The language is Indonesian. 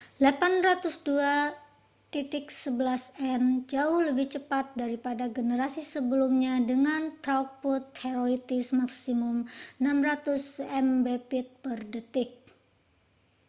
802.11n jauh lebih cepat daripada generasi sebelumnya dengan throughput teoretis maksimum 600mbit/detik